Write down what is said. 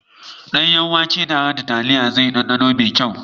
Danyen wake tare da taliya zai yi danɗano mai kyau.